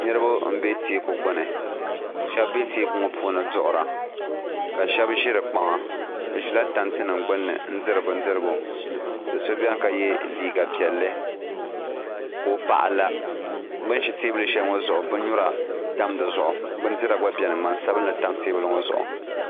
Niriba m-be teeku gbuni shɛba be teeku ŋɔ puuni n-duɣira ka shɛba ʒi di kpaŋa bɛ ʒi la tantiniama gbunni n-diri bindirgu do' so be ni ka ye liiga piɛlli ka o paɣa la bɛ ni ʒi teebuli shɛli ŋɔ zuɣu binnyura tam di zuɣu bindira gba beni ŋman' sabinli tam teebuli ŋɔ zuɣu